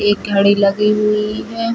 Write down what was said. एक घड़ी लगी हुई है --